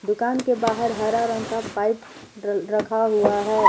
दुकान के बाहर हरा रंग का पाइप रखा हुआ है।